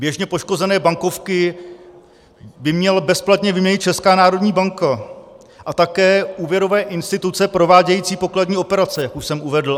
Běžně poškozené bankovky by měla bezplatně vyměnit Česká národní banka a také úvěrové instituce provádějící pokladní operace, jak už jsem uvedl.